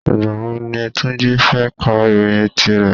Ìgbà wo ni Túnjí fẹ́ ká ìròyìn tí rẹ̀?